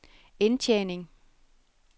indtjening